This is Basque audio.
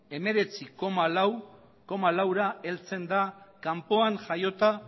hemeretzi koma laura heltzen da kanpoan jaiota